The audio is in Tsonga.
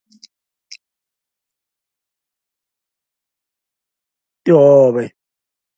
Tihove.